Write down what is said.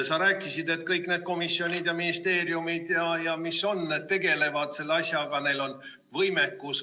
Sa rääkisid, et kõik need komisjonid ja ministeeriumid tegelevad selle asjaga, neil on võimekus.